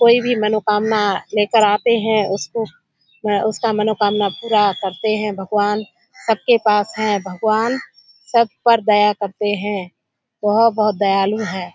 कोई भी मनोकामना लेकेर आते हैं उसको उसका मनोकामना पूरा करते हैं भगवान। सबके पास हैं भगवान। सब पर दया करते हैं। बहुत बहुत दयालु है।